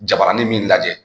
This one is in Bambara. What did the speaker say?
Jabaranin min lajɛ